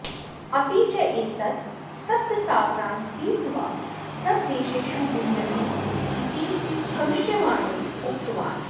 अपि च एतत् सप्तसागरान् तीर्त्वा सर्वदेशेषु गुञ्जति इति भविष्यवाणीम् उक्तवान्